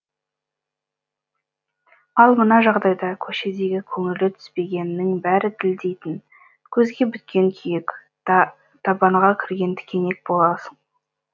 ал мына жағдайда көшедегі көңілі түспегеннің бәрі тілдейтін көзге біткен күйік табанға кірген тікенек боласың